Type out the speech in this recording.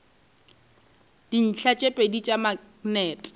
dintlha tše pedi tša maknete